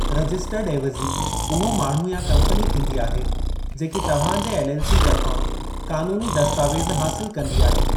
Registered एविज़ी उहो माण्हू या कंपनी थींदी आहे जेकी तव्हां जे एलएलसी तर्फ़ां क़ानूनी दस्तावेज़ हासिलु कंदी आहे।